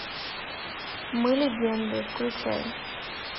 мы легенды включай